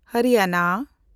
Haryana